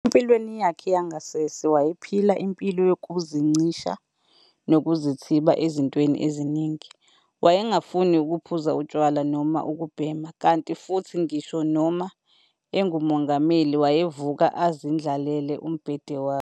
Empilweni yakhe yangasese wayephila impilo yokuzincisha nokuzithiba ezintweni eziningi, wayengafuni ukuphuza utshwala noma ukubhema, kanti futhi ngisho noma enguMongameli, wayevuka azindlalele umbhede wakhe.